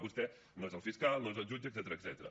vostè no és el fiscal no és el jutge etcètera